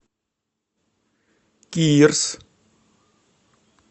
кирс